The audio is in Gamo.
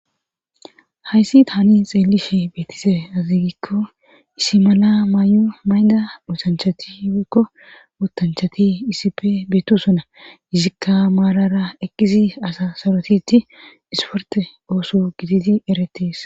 Hayssi tani xeelishe beetise aziigikko isimana may7o mayda dutanchati kko wotanchati isipe beetu sona izikka maarara eqqisi asa sorotiti isforte ooso giditi eretees.